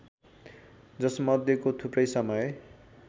जसमध्येको थुप्रै समय